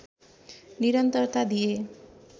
निरन्तरता दिए